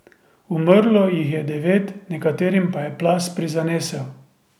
Umrlo jih je devet, nekaterim pa je plaz prizanesel.